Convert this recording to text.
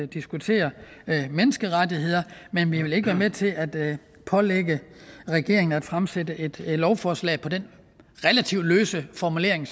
diskutere menneskerettigheder men vi vil ikke være med til at pålægge regeringen at fremsætte et lovforslag på den relativt løse formulering